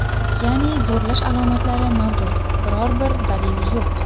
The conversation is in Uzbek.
Ya’ni zo‘rlash alomatlari mavjud biror bir dalil yo‘q.